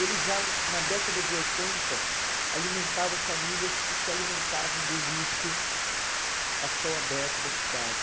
Ele já, na década de oitenta, alimentava famílias que se alimentavam do lixo a céu aberto da cidade.